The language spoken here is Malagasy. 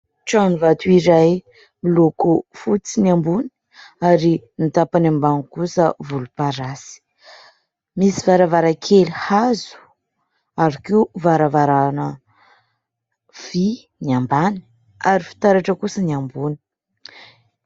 Trano vato iray miloko fotsy ny ambony ary ny tapany ambany kosa volomparasy. Misy varavarankely hazo ary koa varavarana vý ny ambany, ary fitaratra kosa ny ambony.